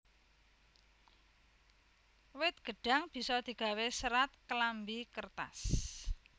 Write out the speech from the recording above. Wit gêdhang bisa digawé sêrat klambi kêrtas